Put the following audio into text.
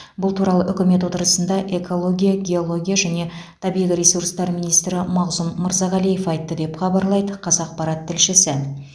бұл туралы үкімет отырысында экология геология және табиғи ресурстар министрі мағзұм мырзағалиев айтты деп хабарлайды қазақпарат тілшісі